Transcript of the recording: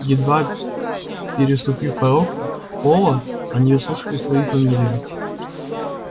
едва переступив порог холла они услышали свои фамилии